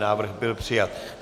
Návrh byl přijat.